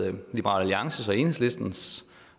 andet liberal alliances og enhedslistens